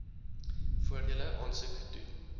voordele aansoek doen